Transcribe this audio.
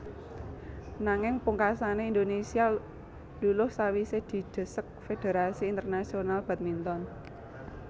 Nanging pungkasané Indonésia luluh sawisé didesek Fédérasi Internasional Badminton